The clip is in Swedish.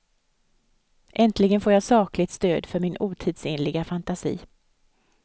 Äntligen får jag sakligt stöd för min otidsenliga fantasi.